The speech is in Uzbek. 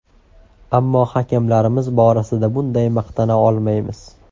Ammo hakamlarimiz borasida bunday maqtana olmaymiz.